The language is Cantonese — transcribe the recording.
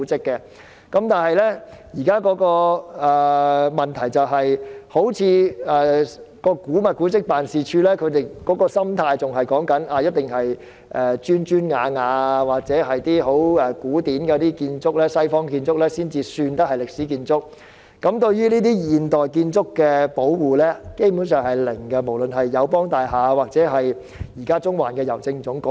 不過，現時的問題在於古物古蹟辦事處的心態，他們好像認為只有那些有磚瓦或十分古典的西方建築才算是歷史建築，對於現代建築基本上不會保護，不論是友邦大廈或是中環的郵政總局。